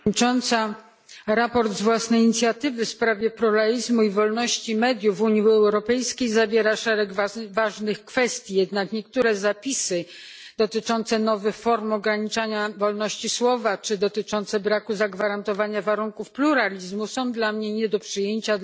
Pani Przewodnicząca! Sprawozdanie z własnej inicjatywy w sprawie pluralizmu i wolności mediów w Unii Europejskiej zawiera szereg ważnych kwestii. Jednak niektóre zapisy dotyczące nowych form ograniczania wolności słowa, czy dotyczące braku zagwarantowania warunków pluralizmu są dla mnie nie do przyjęcia.